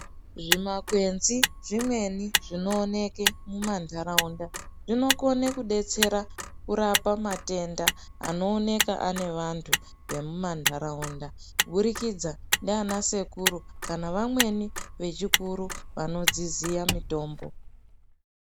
Zvimakwenzi zvimweni zvinooneke mumanharaunda zvinokone kubetsera kurapa matenda anooneka anevantu vemumanharaunda kuburikidza ndiana sekuru kana vamweni vechikuru vanodziziya mitombo.